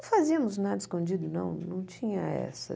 Fazíamos nada escondido, não, não tinha essa.